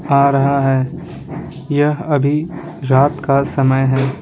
आ रहा है यह अभी रात का समय है .